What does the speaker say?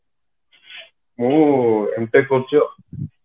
ମୁଁ M.Tech କରୁଛି ଆଉ